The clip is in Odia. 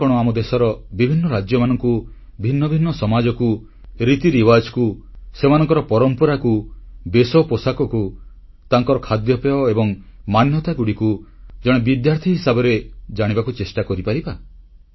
ଆମେମାନେ କଣ ଆମ ଦେଶର ବିଭିନ୍ନ ରାଜ୍ୟମାନଙ୍କୁ ଭିନ୍ନ ଭିନ୍ନ ସମାଜକୁ ରୀତି ନୀତିକୁ ସେମାନଙ୍କ ପରମ୍ପରା ବେଶ ପୋଷାକ ଖାଦ୍ୟପେୟ ଏବଂ ମାନ୍ୟତାଗୁଡ଼ିକୁ ଜଣେ ବିଦ୍ୟାର୍ଥୀ ହିସାବରେ ଜାଣିବାକୁ ଚେଷ୍ଟା କରିପାରିବା